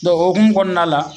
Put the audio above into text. Dɔn o hokumu kɔnɔna la